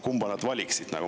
Kumma nad valiksid?